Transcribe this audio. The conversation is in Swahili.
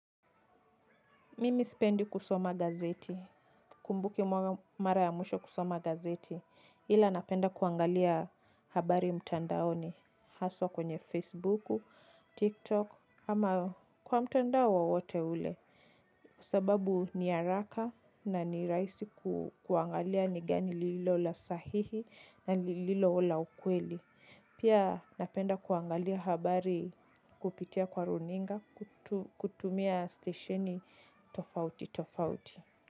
Mimi sipendi kusoma gazeti, sikumbuki mara ya mwisho kusoma gazeti, ila napenda kuangalia habari mtandaoni haswa kwenye Facebook, TikTok, ama kwa mtandao wowote ule. Kwa sababu ni haraka na ni rahisi kuangalia ni gani lililo la sahihi na lililo la ukweli. Pia napenda kuangalia habari kupitia kwa runinga kutumia stesheni tofauti tofauti.